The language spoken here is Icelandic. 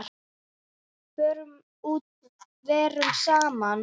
Förum út, verum saman.